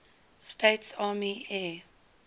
states army air